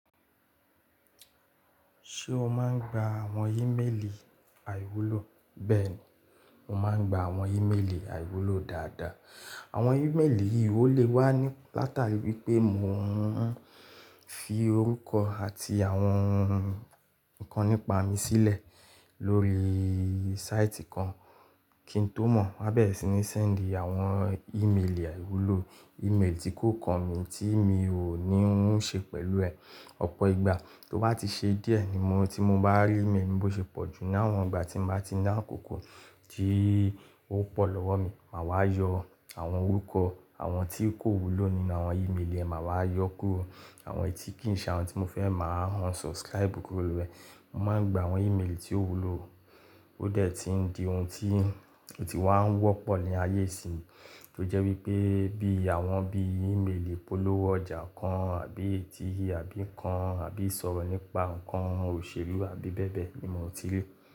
Ṣé o máa ń gba àwọn ímeèlì àìwúlò? Bẹ́ẹ̀ni, mo máa ń gba àwọn ímeèlì àìwúlò dáadáa. Àwọn ímeèlì yìí ó lè wá ni látàrí wí pé mò ń fi orúkọ àti àwọn nǹkan nípa mi sílẹ̀ lórí sáìtì kan kí n tó mọ̀, wá bẹ́rẹ̀ sì ní sẹ́ǹdì àwọn ímeèlì àìwúlò, ímeèlì tí kò kọ̀ mí tí mi ò ní ń ṣe pẹ̀lú ẹ̀. Ọ̀pọ̀ ìgbà tó bá ti ṣe díẹ̀ ni mo tí mo bá rí ímeèlì bó ṣe pọ̀ jù ní àwọn ìgbà tí nbá ti náàkókò tí ó pọ̀ lọ́wọ́ mi, mà wá yọ àwọn orúkọ àwọn tí kò wúlò nínú àwọn ímeèlì ẹ, mà wá yọ kó àwọn èyí tí kí n ṣe àwọn tí mo fẹ́ máa unsubscribe kúrò lori e. Mo máa ń gba àwọn ímeèlì tí ó wúlò, ó dẹ̀ ti ń di ohun tí otì wá ń wọ́pọ̀ ní ayé ìsinyìí, tó jẹ́ wípé bí àwọn bí ímeèlì ìpolówó ọjà kan àbí ètíhì àbí ǹkan àbí ìsọ̀rọ̀ nípa ǹkan òṣèlú àbí bẹ́ẹ̀ bẹ́ẹ̀ ni mò ń ti rí.